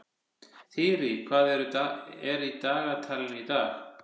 Þyrí, hvað er í dagatalinu í dag?